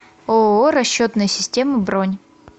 ооо расчетные системы бронь